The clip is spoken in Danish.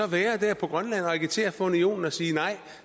være der på grønland og agitere for unionen og sige